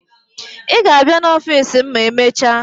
Ị ga-abịa n'ọfiisi m ma e mecha?